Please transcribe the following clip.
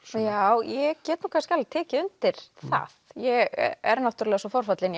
já ég get nú kannski alveg tekið undir það ég er náttúrulega svo forfallin